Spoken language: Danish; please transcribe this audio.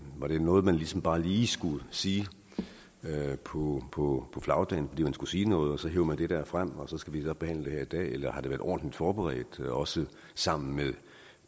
var det noget man ligesom bare lige skulle sige på på flagdagen fordi man skulle sige noget og så hev man det der frem og så skal vi behandle det her i dag eller har det været ordentligt forberedt også sammen med